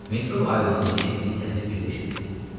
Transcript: Metro ayılanda eşitdiyi səsi bir də eşitdi.